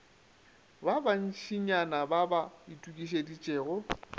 ba bantšinyana ba ba itokišeditšego